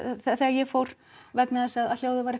þegar ég fór vegna þess að hljóðið var